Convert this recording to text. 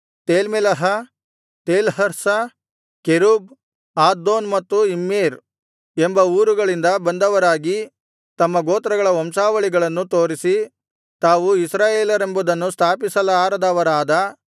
ತೇಲ್ಮೆಲಹ Telharsha Cherub Addon ಮತ್ತು Immer ಎಂಬ ಊರುಗಳಿಂದ ಬಂದವರಾಗಿ ತಮ್ಮ ಗೋತ್ರಗಳ ವಂಶಾವಳಿಗಳನ್ನು ತೋರಿಸಿ ತಾವು ಇಸ್ರಾಯೇಲರೆಂಬುದನ್ನು ಸ್ಥಾಪಿಸಲಾರದವರಾದ